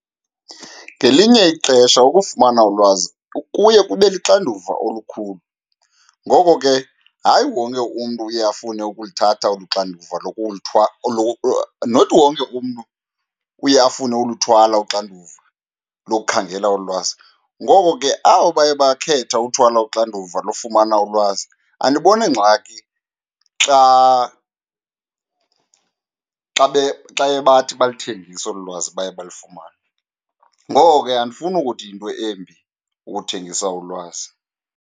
Ngelinye ixesha ukufumana ulwazi kuye kube luxanduva olukhulu, ngoko ke hayi wonke umntu uye afune ukulithatha olu xanduva , not wonke umntu uye afune uluthwala uxanduva lokukhangela ulwazi. Ngoko ke, abo baye bakhetha uthwala uxanduva lofumana ulwazi andiboni ngxaki xa, xa xa baye bathi baluthengise olu lwazi baye balifumane. Ngoko ke, andifuni ukuthi yinto embi ukuthengisa ulwazi.